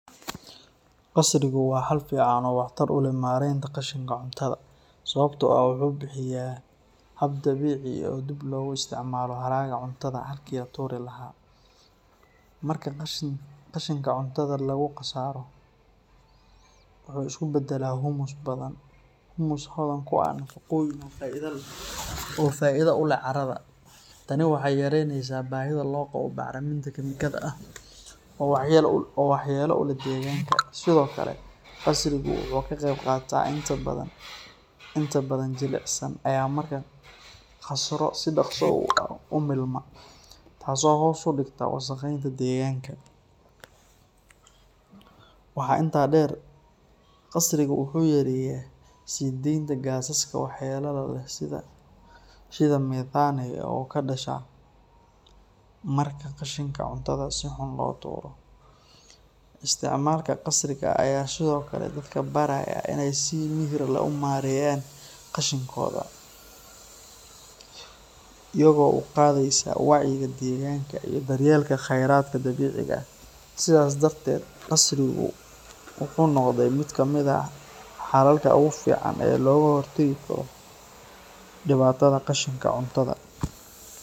Qasrigu waa xal fiican oo waxtar u leh maaraynta qashinka cuntada sababtoo ah wuxuu bixiyaa hab dabiici ah oo dib loogu isticmaalo haraaga cuntada halkii laga tuuri lahaa. Marka qashinka cuntada lagu qasro, wuxuu isu beddelaa humus hodan ku ah nafaqooyinka oo faa’iido u leh carrada. Tani waxay yareyneysaa baahida loo qabo bacriminta kiimikada ah oo waxyeello u leh deegaanka. Sidoo kale, qasrigu wuxuu ka qayb qaataa dhimista qashinka la geeyo goobaha qashin qubka. Qashinka cuntada oo inta badan jilicsan ayaa marka la qasro si dhakhso ah u milma, taasoo hoos u dhigta wasaqeynta deegaanka. Waxaa intaa dheer, qasrigu wuxuu yareeyaa sii deynta gaasaska waxyeellada leh sida methane oo ka dhasha marka qashinka cuntada si xun loo tuuro. Isticmaalka qasriga ayaa sidoo kale dadka baraya in ay si miyir leh u maareeyaan qashinkooda, iyagoo doorbidaya in ay dib u isticmaalaan halkii ay tuuri lahaayeen. Tani waxay kor u qaadaysaa wacyiga deegaanka iyo daryeelka khayraadka dabiiciga ah. Sidaas darteed, qasrigu wuxuu noqday mid ka mid ah xalalka ugu fiican ee looga hortagi karo dhibaatada qashinka cuntada.